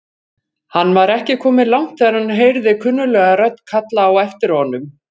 Hann var ekki kominn langt þegar hann heyrði kunnuglega rödd kalla á aftir honum.